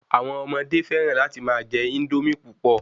Àwọn ọmọdé fẹ́ràn láti má je Índómì púpọ̀